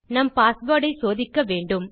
நம் பாஸ்வேர்ட் ஐ சோதிக்க வேண்டும்